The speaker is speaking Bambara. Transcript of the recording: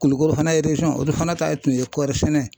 Kulukoro fana o de fana ta ye tun ye kɔɔri sɛnɛ .